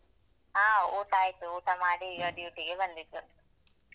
ಹ ಊಟ ಆಯ್ತು. ಊಟ ಮಾಡಿ ಈಗ duty ಗೆ ಬಂದಿದ್ದು.